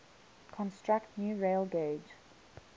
construct new railgauge